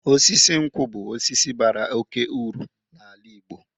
Osisi nkwu bụ osisi bara oke uru n'ala Igbo.